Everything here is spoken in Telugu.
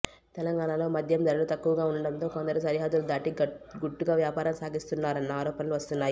తెలంగాణలో మద్యం ధరలు తక్కువగా ఉండడంతో కొందరు సరిహద్దులు దాటి గుట్టుగా వ్యాపారం సాగిస్తున్నారన్న ఆరోపణలు వస్తున్నాయి